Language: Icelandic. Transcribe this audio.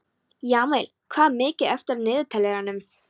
Jamil, hvað er mikið eftir af niðurteljaranum?